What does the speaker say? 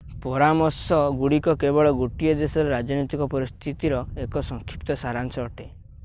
ପରାମର୍ଶ ଆଡଭାଇଜରିଗୁଡ଼ିକ କେବଳ ଗୋଟିଏ ଦେଶର ରାଜନୈତିକ ପରିସ୍ଥିତିର ଏକ ସଂକ୍ଷିପ୍ତ ସାରାଂଶ ଅଟେ।